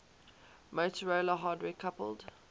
motorola hardware coupled